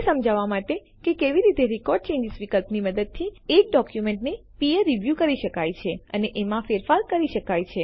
એ સમજાવવા માટે કે કેવી રીતે રેકોર્ડ ચેન્જીસ વિકલ્પની મદદથી એક ડોક્યુમેન્ટને પીયર રીવ્યૂ કરી શકાય છે અને એમાં ફેરફાર કરી શકાય છે